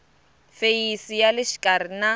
feyisi ya le xikarhi na